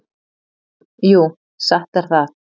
Jú, satt er það.